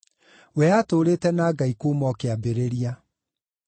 We aatũũrĩte na Ngai kuuma o kĩambĩrĩria.